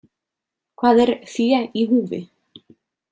Hvað er „fé í húfi“ ?